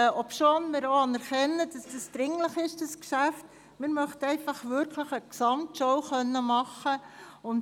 Obwohl wir die Dringlichkeit dieses Geschäfts anerkennen, möchten wir wirklich eine Gesamtschau machen können.